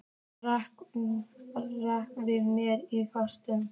Ranka við mér í fangi hans.